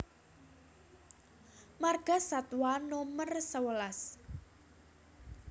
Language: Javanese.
Margasatwa Nomer sewelas